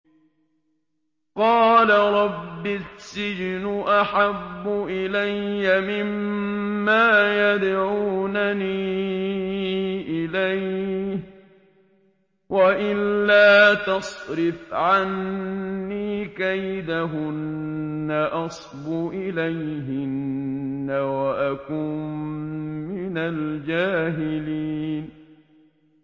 قَالَ رَبِّ السِّجْنُ أَحَبُّ إِلَيَّ مِمَّا يَدْعُونَنِي إِلَيْهِ ۖ وَإِلَّا تَصْرِفْ عَنِّي كَيْدَهُنَّ أَصْبُ إِلَيْهِنَّ وَأَكُن مِّنَ الْجَاهِلِينَ